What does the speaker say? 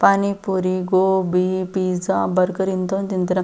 ಪಾನಿ puri gobi pizza burger ಇಂತವನ್ನೆಲ್ಲ ತಿಂತಾರೆ.